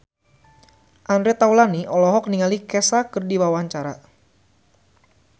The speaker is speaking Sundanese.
Andre Taulany olohok ningali Kesha keur diwawancara